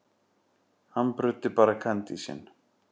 Hann bruddi bara kandísinn.